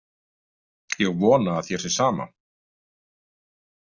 Ég vona að þér sé sama.